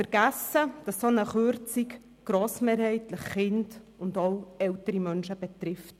Vergessen geht, dass eine solche Kürzung grossmehrheitlich Kinder und ältere Menschen betrifft.